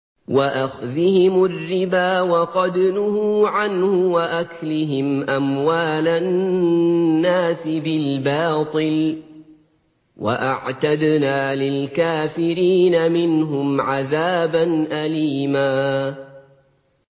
وَأَخْذِهِمُ الرِّبَا وَقَدْ نُهُوا عَنْهُ وَأَكْلِهِمْ أَمْوَالَ النَّاسِ بِالْبَاطِلِ ۚ وَأَعْتَدْنَا لِلْكَافِرِينَ مِنْهُمْ عَذَابًا أَلِيمًا